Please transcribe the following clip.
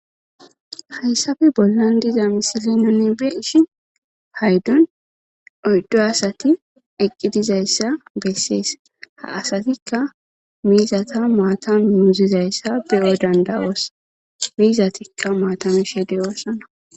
Hayssappe bollan diza misilen nuun be'ishin payddon oyddu asati eqqidizayssa bessees ha asatikka miizata maata muuzizayssa beyo danda'oossa miizatikka maata mishe de'ossonna